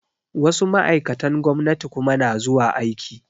Wasu ma'aikatan gwamnati kuma na zuwa aiki